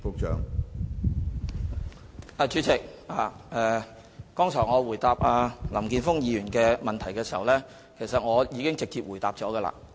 主席，我剛才回答林健鋒議員的補充質詢時，已經直接回答了有關問題。